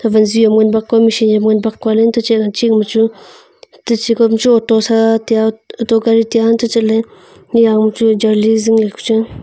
wanziu nganbak kua machine e nganbak kua untoh chehanching ma chu teche kawma ma chu auto sa taiya bauto gari taiya untoh chatley niaw chu jarli zingley ku chang a.